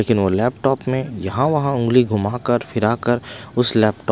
लेकिन वो लैपटॉप में यहाँ वहाँ उंगली घुमाकर फिराकर उस लैपटॉप --